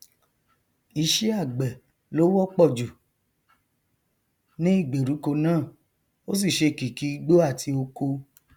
iṣẹ àgbẹ ló wọpọ jù ní ìgbèríko náà ó sì ṣe kìkì igbó àti oko